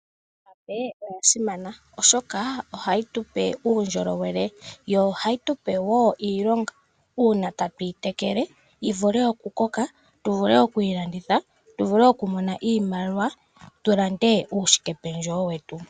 Iihape oya simana oshoka ohayi tupe uundjolowele yo ohayi tupe wo iilonga uuna tatuyi tekele yivule okukoka tuvule okuyi landitha, tuvule okumona iimaliwa tulande uushikependjewo wetu.